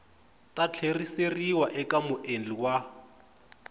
ta tlheriseriwa eka muendli wa